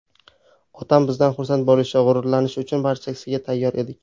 Otam bizdan xursand bo‘lishi, g‘ururlanishi uchun barchasiga tayyor edik.